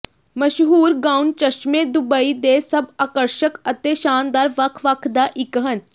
ਮਸ਼ਹੂਰ ਗਾਉਣ ਚਸ਼ਮੇ ਦੁਬਈ ਦੇ ਸਭ ਆਕਰਸ਼ਕ ਅਤੇ ਸ਼ਾਨਦਾਰ ਵੱਖ ਵੱਖ ਦਾ ਇੱਕ ਹਨ